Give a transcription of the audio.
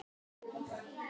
Jónas er ekki lengur við.